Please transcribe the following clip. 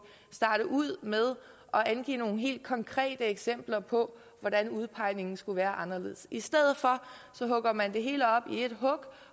starte ud med at angive nogle helt konkrete eksempler på hvordan udpegningen skulle være anderledes i stedet hugger man det hele op i ét hug